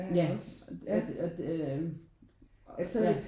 Ja at øh at øh ja